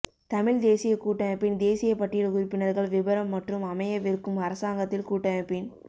தமிழ் தேசியக் கூட்டமைப்பின் தேசியப் பட்டியல் உறுப்பினர்கள் விபரம் மற்றும் அமையவிருக்கும் அரசாங்கத்தில் கூட்டமைப்பின்